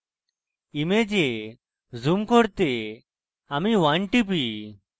image zoom করতে আমি 1 টিপি